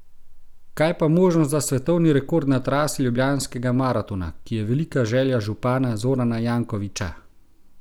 Kaj pa možnost za svetovni rekord na trasi Ljubljanskega maratona, ki je velika želja župana Zorana Jankovića?